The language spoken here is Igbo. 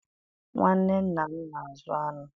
Nwanne nna m na-azụ aṅụ